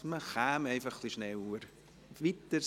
Man könnte ein wenig schneller weiterfahren.